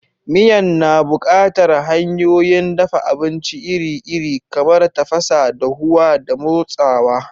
Miyan na buƙatar hanyoyin dafa abinci iri-iri, kamar tafasa, dahuwa, da motsawa.